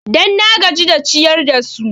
Dan na gaji da ciyar da su